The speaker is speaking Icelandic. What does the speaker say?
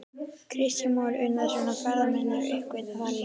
Kristján Már Unnarsson: Og ferðamenn eru að uppgötva það líka?